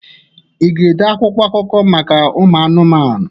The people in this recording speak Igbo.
Ị ga-ede akwụkwọ akụkọ maka ụmụ anụmanụ?